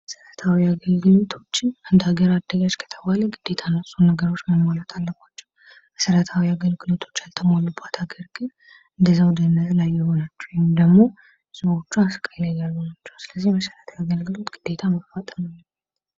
መሰረታዊ አገልግሎቶችን አንድ ሃገር አደገች ከተባለ እነዚህን ነገሮች ማሟላት አለባቸው። መሰረታዊ አገልግሎቶችን ያልተሟሉበት ሃገር ግን እንደዛው ድህነት ላይ የሆነች ወይም ደግሞ ህዝቦቿ ስቃይ ላይ ያሉ ናቸው ስለዚህ መሰረታዊ አገልግሎት ግደታ መሟላት አለበት።